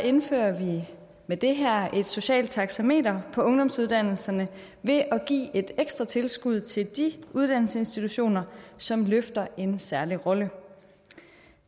indfører vi med det her lovforslag et socialt taxameter på ungdomsuddannelserne ved at give et ekstra tilskud til de uddannelsesinstitutioner som løfter en særlig rolle